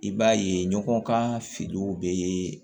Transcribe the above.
I b'a ye ɲɔgɔn ka finiw bɛ